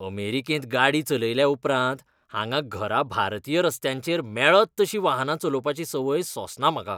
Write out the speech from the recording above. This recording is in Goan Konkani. अमेरिकेंत गाडी चलयल्या उपरांत, हांगा घरा भारतीय रस्त्यांचेर मेळत तशीं वाहनां चलोवपाची संवय सोंसना म्हाका.